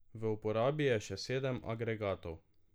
V uporabi je še sedem agregatov.